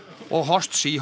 og